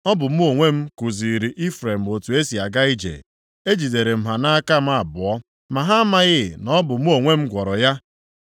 Ọ bụ mụ onwe m kuziiri Ifrem otu e si aga ije, ejidere m ha nʼaka m abụọ, ma ha amaghị na ọ bụ mụ onwe m gwọrọ ya.